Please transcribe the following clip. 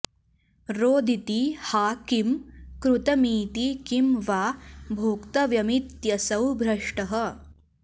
रोदिति हा किं कृतमिति किं वा भोक्तव्यमित्यसौ भ्रष्टः